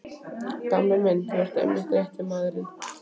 Gamli minn, þú ert einmitt rétti maðurinn.